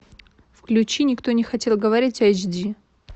включи никто не хотел говорить эйч ди